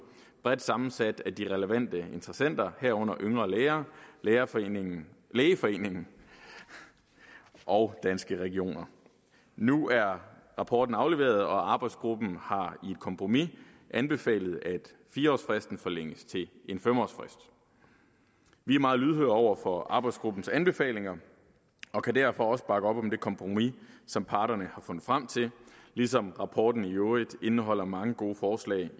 bredt sammensat af de relevante interessenter herunder yngre læger lægeforeningen lægeforeningen og danske regioner nu er rapporten afleveret og arbejdsgruppen har i et kompromis anbefalet at fire årsfristen forlænges til en fem årsfrist vi er meget lydhøre over for arbejdsgruppens anbefalinger og kan derfor også bakke op om det kompromis som parterne har fundet frem til ligesom rapporten i øvrigt indeholder mange gode forslag